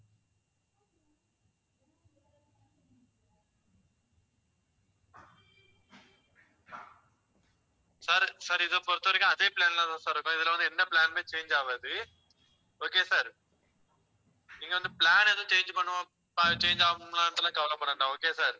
sir, sir இதை பொறுத்தவரைக்கும் அதே plan லதான் sir இருக்கோம். இதில வந்து என்ன plan னுமே change ஆகாது okay sir இங்க வந்து plan எதுவும் change பண்ணுவோம் change ஆகும்ன்னுட்டு எல்லாம் கவலைப்பட வேண்டாம் okay sir